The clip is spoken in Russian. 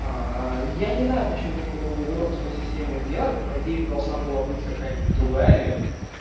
я не знаю почему такую уродскую систему сделали по идее это должна была быть какая-нибудь другая ветка